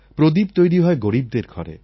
প্রদীপ তৈরি হয় গরীবদের ঘরে